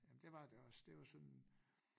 Jamen det var det også det var sådan